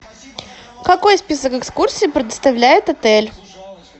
какой список экскурсий предоставляет отель